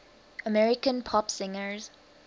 american pop singers